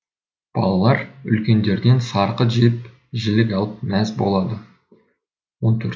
балалар үлкендерден сарқыт жеп жілік алып мәз болады он төрт